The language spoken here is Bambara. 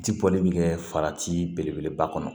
Ji bɔli mi kɛ farati belebeleba kɔnɔ